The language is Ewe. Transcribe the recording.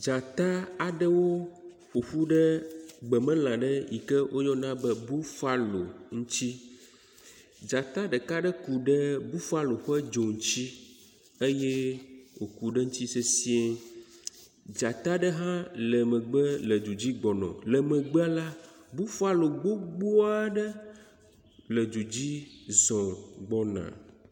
Dzata aɖewo ƒoƒu ɖe gbemelã ɖe yi ke woyɔna be bufalo ŋutsi. Dzata ɖeka aɖe ku ɖe bufalo ƒe dzo ŋutsi eye wòku ɖe eŋutsi sesiẽ. Dzata ɖe hã le megbe le du dzi gbɔna. Le megbea la, bufalo gbogbo aɖe le du dzi zɔ gbɔna.